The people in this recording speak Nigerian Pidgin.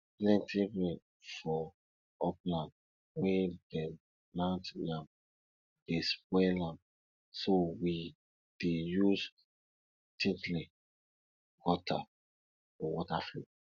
plenty rain for upland wey dem plant yam dey spoil am so we dey use tilting gutter for water flow